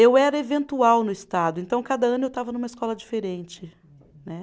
Eu era eventual no estado, então cada ano eu estava numa escola diferente, né?